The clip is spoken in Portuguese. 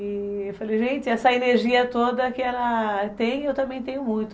E eu falei, gente, essa energia toda que ela tem, eu também tenho muito.